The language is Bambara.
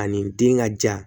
Ani den ka ja